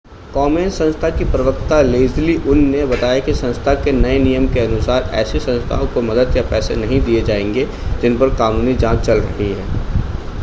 कोमेन संस्था की प्रवक्ता लेज़ली उन ने बताया कि संस्था के नए नियम के अनुसार ऐसी संस्थाओं को मदद या पैसे नहीं दिए जाएंगे जिन पर कानूनी जांच चल रही है